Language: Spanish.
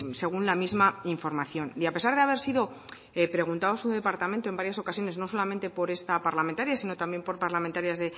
según la misma información y a pesar de haber sido preguntado a su departamento en varias ocasiones no solamente por esa parlamentaria sino también por parlamentarias